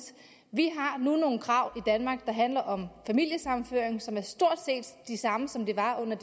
vi har nu nogle krav danmark der handler om familiesammenføring som er stort set de samme som de var under